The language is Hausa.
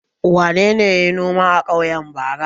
Wane ne ya yi noma a ƙauye bara?